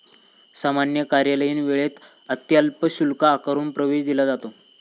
सामान्य कार्यालयीन वेळेत अत्यल्प शुल्क आकारून प्रवेश दिला जातो.